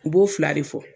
U b'o fila de fɔ